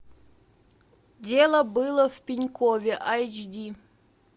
дело было в пенькове айч ди